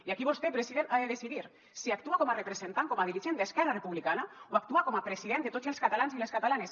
i aquí vostè president ha de decidir si actua com a representant com a dirigent d’esquerra republicana o actua com a president de tots els catalans i les catalanes